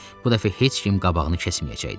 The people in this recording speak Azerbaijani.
Bu dəfə heç kim qabağını kəsməyəcəkdi.